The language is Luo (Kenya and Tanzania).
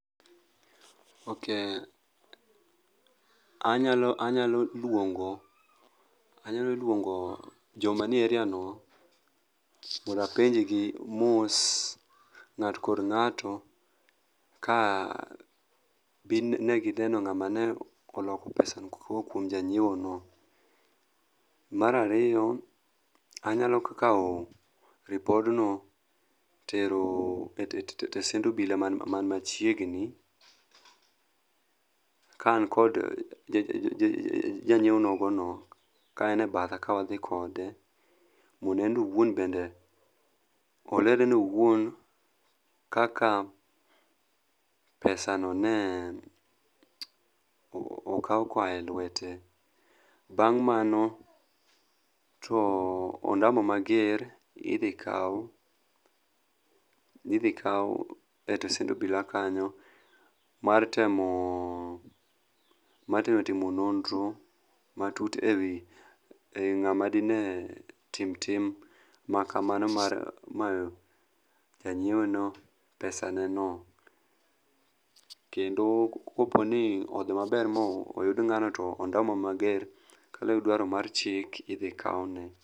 Ok anyalo luongo jomanie areano mondo apenjgi mos ng'ato kod ng'ato ka bin ne gineno ng'ama ne oloko pesano kowuok kuom janyieono. Mar ariyo anyalo kawo ripodno tero e stesend obila man machiegni ka an kod janyieo nogono ka en e batha ka wadhi kode, mondo en be owuon olerane owuon kaka pesano ne okaw koa e lwete. Bang' mano to ondamo mager idhi kaw e stesend obila kanyo mar temo timo nonro matut e wi ng'ama dine tim tim makamano mar mayo janyieono pesaneno, kendo koponi odhi maber moyud ng'ano to ondamo mager kaluwre gi dwaro mar chik idhi kawne.